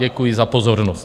Děkuji za pozornost.